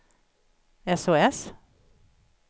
sos